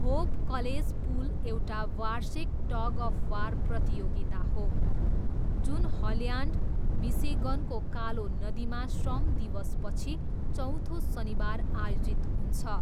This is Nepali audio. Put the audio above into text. होप कलेज पुल एउटा वार्षिक टग अफ वार प्रतियोगिता हो जुन हल्यान्ड, मिसिगनको कालो नदीमा श्रम दिवसपछि चौथो शनिबार आयोजित हुन्छ।